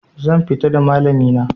Zan fita da malami na